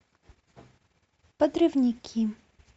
подрывники